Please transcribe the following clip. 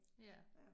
Ja